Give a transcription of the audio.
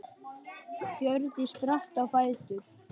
Hjördís spratt á fætur.